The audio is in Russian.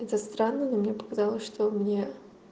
это странно но мне показалось что мне